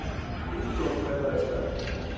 Þinglok verða í dag.